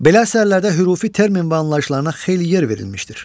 Belə əsərlərdə hürufi termin və anlayışlarına xeyli yer verilmişdir.